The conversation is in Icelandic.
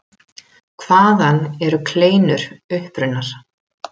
Hvaðan eru kleinur upprunnar?